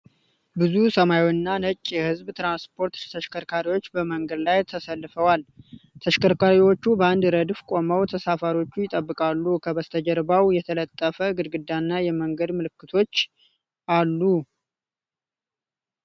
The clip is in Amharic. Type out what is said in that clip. ብዙ ሰማያዊና ነጭ የህዝብ ትራንስፖርት ተሽከርካሪዎች በመንገድ ላይ ተሰልፈዋል፡፡ ተሽከርካሪዎቹ በአንድ ረድፍ ቆመው ተሳፋሪዎችን ይጠብቃሉ፡፡ ከበስተጀርባው የተለጠፈ ግድግዳና የመንገድ ምልክቶች አሉ፡፡